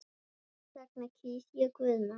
Þess vegna kýs ég Guðna.